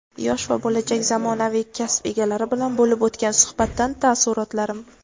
Yosh va bo‘lajak zamonaviy kasb egalari bilan bo‘lib o‘tgan suhbatdan taassurotlarim.